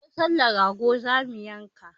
A babbar sallah rago zamu yanka